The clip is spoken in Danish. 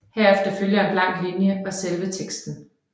Herefter følger en blank linje og selve teksten